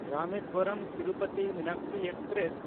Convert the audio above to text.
ᱨᱟᱢᱮᱥᱣᱚᱨᱚᱢ–ᱛᱤᱨᱩᱯᱚᱛᱤ Meenakshi express